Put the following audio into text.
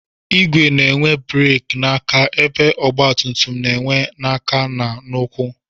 Igwe na-enwe bereki n'aka ebe ọgbatumtum na-enwe n'aka na ụkwụ